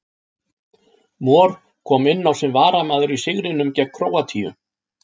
Mor kom inn á sem varamaður í sigrinum gegn Króatíu.